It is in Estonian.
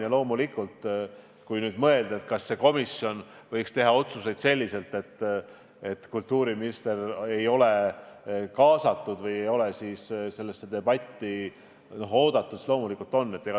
Ja loomulikult, kui nüüd mõelda, kas see komisjon võiks teha otsuseid sedasi, et kultuuriminister ei oleks kaasatud või ei oleks sellesse debatti oodatud, siis loomulikult ta on oodatud.